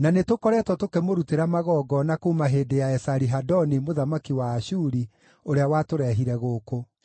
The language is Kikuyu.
na nĩtũkoretwo tũkĩmũrutĩra magongona kuuma hĩndĩ ya Esari-Hadoni mũthamaki wa Ashuri, ũrĩa watũrehire gũkũ.”